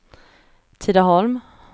Tidaholm